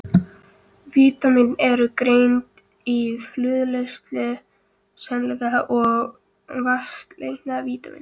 Vítamín eru greind í fituleysanleg og vatnsleysanleg vítamín.